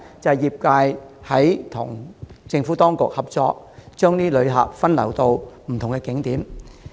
因為業界與政府當局合作，把旅客分流至不同景點。